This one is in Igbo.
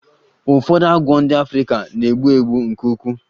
Ụfọdụ agwọ ndị Africa na-egbu egbu nke ukwuu